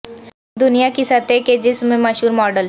دنیا کی سطح کے جسم میں مشہور ماڈل